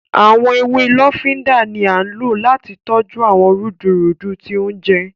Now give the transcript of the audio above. Awọn ewé lofinda ní a ló láti tọjú awọn rudurudu tí oúnjẹ